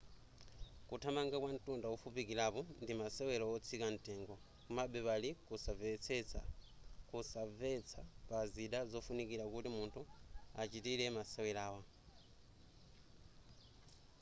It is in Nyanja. kuthamanga kwa ntunda wofupikilapo ndi masewela otsika ntengo komabe pali kunsanvetsa pa zida zofunikila kuti munthu achitile masewerawa